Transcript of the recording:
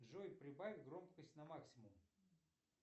джой прибавь громкость на максимум